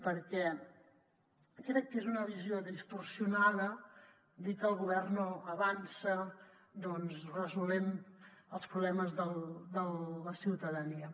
perquè crec que és una visió distorsionada dir que el govern no avança doncs resolent els problemes de la ciutadania